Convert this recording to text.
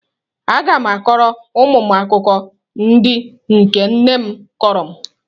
Aga m akọrọ ụmụ m akụkọ ndị nke nne m kọrọ m.